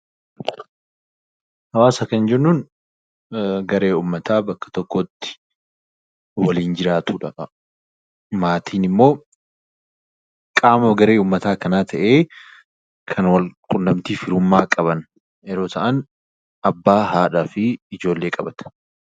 Hawaasa kan jennuun garee uummataa bakka tokkotti waliin jiraatudha. Maatiin immoo qaama garee uummata kanaa kan wal quunnamtii firummaa qaban yommuu ta'an abbaa, haadhaa fi ijoollee qabatu